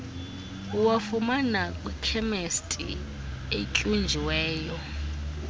uwafumana kwikhemesti etyunjiweyo